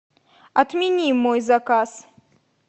отмени мой заказ